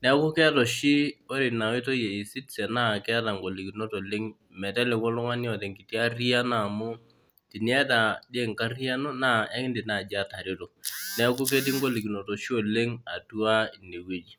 Neeku keeta oshi ore ina oitoi ee ecitizen naa keeta ingolikinot oleng meteku oltungani oota engiti arhiyia naa amu teniyata dii enkarhiyiano nekiidim naiatareto niaku ketii ingolikinot oshi oleng atua ine wueji